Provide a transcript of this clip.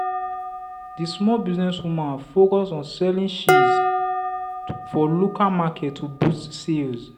the small business woman focus on selling cheese for local market to boost sales.